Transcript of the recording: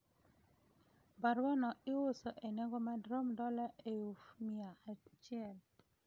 Barua no iuso e nego madrom dola euf mia achiel